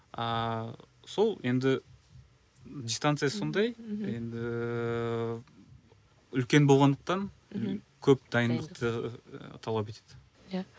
ааа сол енді дистанция сондай енді үлкен болғандықтан мхм көп дайындықты талап етеді иә